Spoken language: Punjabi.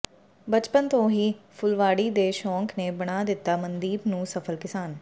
ਬਚਪਨ ਤੋਂ ਹੀ ਫੁਲਵਾੜੀ ਦੇ ਸ਼ੋਕ ਨੇ ਬਣਾ ਦਿਤਾ ਮਨਦੀਪ ਨੂੰ ਸਫਲ ਕਿਸਾਨ